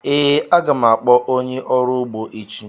Ee, a ga m akpọ onye ọrụ ugbo echi.